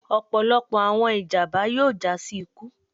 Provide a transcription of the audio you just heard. ọpọlọpọ awọn ijamba yoo ja si iku